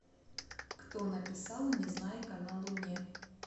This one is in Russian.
кто написал незнайка на луне